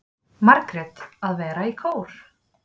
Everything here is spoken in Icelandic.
Margrét: Að vera í kór.